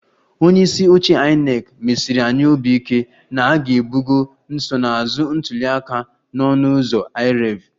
Onye isi oche INEC mesiri anyị obi ike na a ga-ebugo nsonaazụ ntuli aka na ọnụ ụzọ IREV